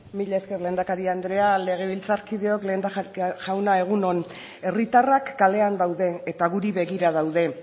mila esker lehendakari andrea legebiltzarkideok lehendakari jauna egun on herritarrak kalean daude eta guri begira daude